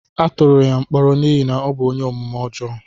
Atụrụ ya mkpọrọ n'ihi na ọ bụ ónyé omume ọjọọ